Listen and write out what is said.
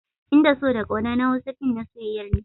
In da so da ƙauna na Hausa fin na soyyayar ne